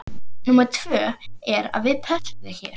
Númer tvö er að við pössum þig hér.